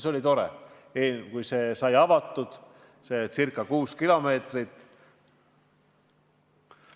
Oli tore, kui see sai avatud, see ca 6 kilomeetrit.